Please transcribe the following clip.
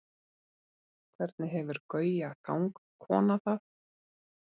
hvernig hefur gauja gangkona það